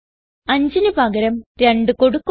5ന് പകരം 2 കൊടുക്കുക